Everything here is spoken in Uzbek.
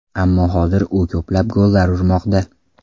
Ammo hozir u ko‘plab gollar urmoqda.